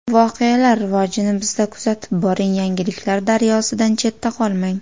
Voqealar rivojini bizda kuzatib boring, yangiliklar daryosidan chetda qolmang!